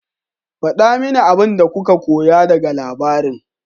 Faɗa mini abin da kuka koya daga labarin.